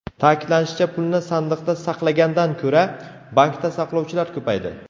Ta’kidlanishicha, pulni sandiqda saqlagandan ko‘ra, bankda saqlovchilar ko‘paydi.